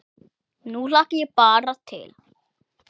Nú hlakka ég bara til.